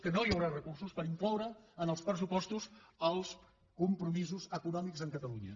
que no hi haurà recursos per incloure en els pressupostos els compromisos econòmics amb catalunya